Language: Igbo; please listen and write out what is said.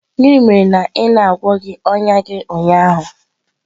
Gịnị mere na ị na-agwọghị ọnya gị ụnyaahụ?